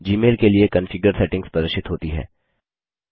Gmail के लिए configure settings प्रदर्शित होती हैं